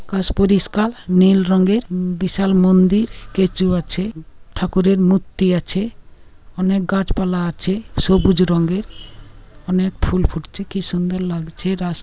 আকাশ পরিষ্কার নীল রঙের বিশাল মন্দির স্ট্যাচু আছে ঠাকুরের মূর্তি আছে অনেক গাছপালা আছে সবুজ রঙেরঅনেক ফুল ফুটছে কি সুন্দর লাগছে রাস --